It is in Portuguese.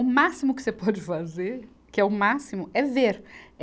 O máximo que você pode fazer, que é o máximo, é ver.